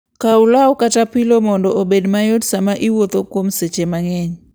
Kaw law kata pilo mondo obed mayot sama iwuotho kuom seche mang'eny.